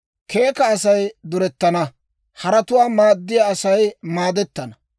Keeka Asay durettana; haratuwaa maaddiyaa Asay maadettana.